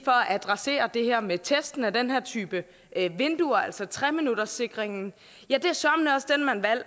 at adressere det her med testene af den her type vinduer altså tre minutterssikringen så